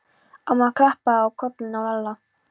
Amma klappaði á kollinn á Lalla.